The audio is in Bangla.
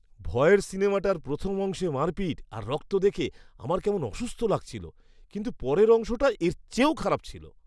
ভয়ের সিনেমাটার প্রথম অংশে মারপিট আর রক্ত দেখে আমার কেমন অসুস্থ লাগছিল, কিন্তু পরের অংশটা এর চেয়েও খারাপ ছিল!